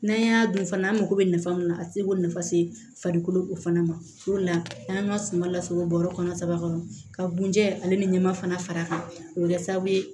N'an y'a dun fana an mago bɛ nafa min na a tɛ se ko nafa se farikolo o fana ma o de la an ka suma lasago bɔɔrɔ kɔnɔ saba kɔnɔ ka bunjɛ ale ni ɲɛma fana fara a kan o be kɛ sababu ye